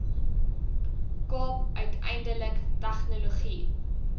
kaap uiteindelik tegnologie